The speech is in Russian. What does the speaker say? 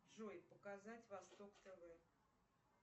джой показать восток тв